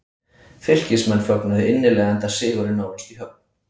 Fylkismenn fögnuðu innilega enda sigurinn nánast í höfn.